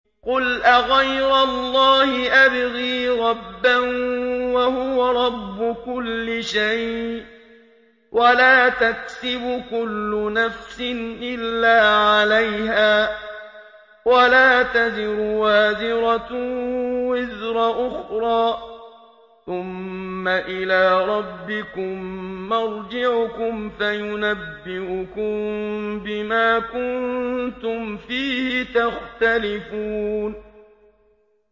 قُلْ أَغَيْرَ اللَّهِ أَبْغِي رَبًّا وَهُوَ رَبُّ كُلِّ شَيْءٍ ۚ وَلَا تَكْسِبُ كُلُّ نَفْسٍ إِلَّا عَلَيْهَا ۚ وَلَا تَزِرُ وَازِرَةٌ وِزْرَ أُخْرَىٰ ۚ ثُمَّ إِلَىٰ رَبِّكُم مَّرْجِعُكُمْ فَيُنَبِّئُكُم بِمَا كُنتُمْ فِيهِ تَخْتَلِفُونَ